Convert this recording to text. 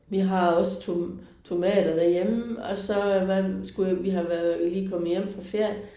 Vi har også to tomater derhjemme og så hvad skulle vi har været lige kommet hjem fra ferie